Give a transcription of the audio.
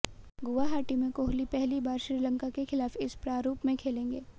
गुवाहाटी में कोहली पहली बार श्रीलंका के खिलाफ इस प्रारूप में खेलेंगे